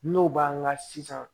N'o b'an kan sisan